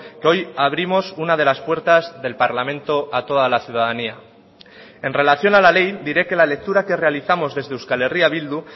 que hoy abrimos una de las puertas del parlamento a toda la ciudadanía en relación a la ley diré que la lectura que realizamos desde euskal herria bildu